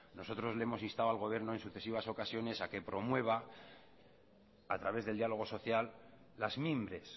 nosotros le hemos instado al gobierno en sucesivas ocasiones a que promueva a través del diálogo social las mimbres